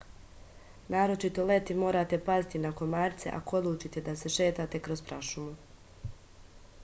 naročito leti morate paziti na komarce ako odlučite da se šetate kroz prašumu